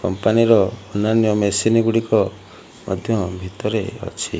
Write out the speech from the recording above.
Company ର ଅନ୍ୟାନ୍ୟ machine ଗୁଡ଼ିକ ମଧ୍ୟ ଭିତରେ ଅଛି।